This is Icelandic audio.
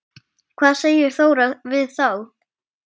Hvað segir Þóra við þá?